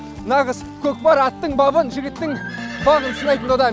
нағыз көкпар аттың бабын жігіттің бағын сынайтын дода